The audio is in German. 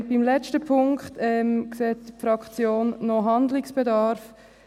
Beim letzten Punkt sieht die Fraktion noch Handlungsbedarf.